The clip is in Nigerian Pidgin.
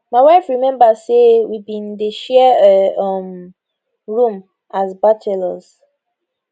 my wife remember say we bin dey share a um room as bachelors